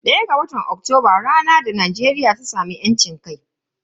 ɗaya ga watan Oktoba ranar da Najeriya ta samu yancin kai.